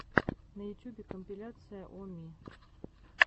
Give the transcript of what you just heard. на ютьюбе компиляция о ми